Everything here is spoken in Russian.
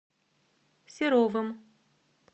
серовым